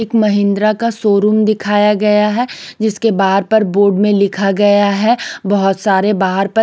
एक का शोरूम दिखाया गया है जिसके बाहर पर बोर्ड में लिखा गया है बहुत सारे बाहर पर--